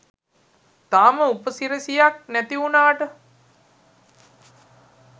තාම උපසිරැසියක් නැතිවුනාට